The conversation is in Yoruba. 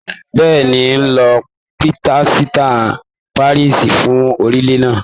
Bẹ́ẹ̀ni, n o lo pílásítà parisi fún òrùlé náà.